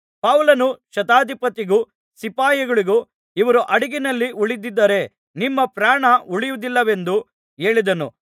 ಪೌಲನು ಶತಾಧಿಪತಿಗೂ ಸಿಪಾಯಿಗಳಿಗೂ ಇವರು ಹಡಗಿನಲ್ಲಿ ಉಳಿಯದಿದ್ದರೆ ನಿಮ್ಮ ಪ್ರಾಣ ಉಳಿಯುವುದಿಲ್ಲವೆಂದು ಹೇಳಿದನು